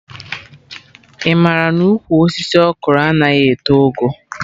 Ị mara na ụkwụ osisi Okro anaghị eto ogo?